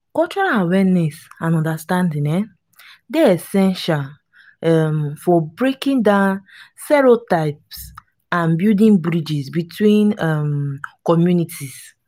cultural awareness and understanding um dey essential um for breaking down stereotypes and building bridges between um communities.